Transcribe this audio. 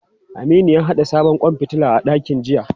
Aminu ya haɗa sabon kwan fitila a dakin jiya.